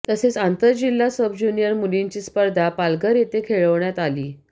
तसेच आंतरजिल्हा सबज्युनियर मुलींची स्पर्धा पालघर येथे खेळवण्यात आली